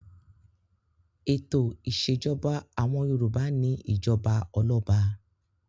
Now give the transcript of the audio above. Ètò ìṣèjọba àwọn Yorùbá ni ìjọba ọlọ́ba.